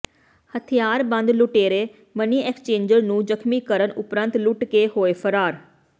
ਹਥਿਆਰਬੰਦ ਲੁਟੇਰੇ money exchanger ਨੂੰ ਜ਼ਖਮੀ ਕਰਨ ਉਪਰੰਤ ਲੁੱਟ ਕੇ ਹੋਏ ਫਰਾਰ